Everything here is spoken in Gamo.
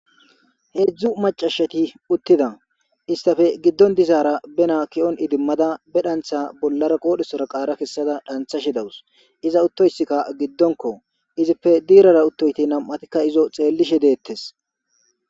Heedzdzu macashati uttida istafe giddon dizaara bena ki'on idimmada be dhantha bollara qoodhesora qaara kessada dhantha shi dawus iza uttoysikka giddonko izippe diirara uttoyti nam'atikka izo xeellishe deettes.